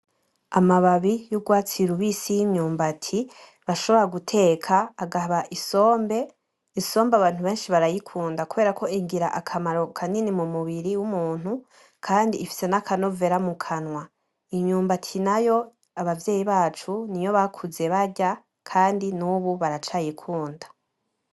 Amababi yugwatsi rubisi yimyumbati bashobora guteka akaba isombe isombe abantu benshi barayikunda kubera ko igira akamaro kanini mumubiri wumuntu kandi ifise n'akanovera mukanwa imyumbati nayo abavyeyi bacu niyo bakuze barya kandi nubu baracayikunda